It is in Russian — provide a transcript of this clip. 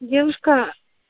девушка